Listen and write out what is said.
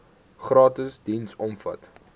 gratis diens omvat